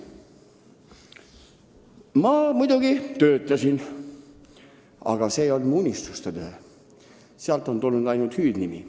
Ma muidugi töötasin, aga see ei olnud mu unistuste töö – sealt on tulnud ainult hüüdnimi.